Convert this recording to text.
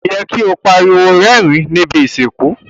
Ko yẹ ki o pariwo rérìn ni ibi ìsìnkú.